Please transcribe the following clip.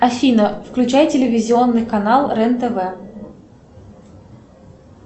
афина включай телевизионный канал рен тв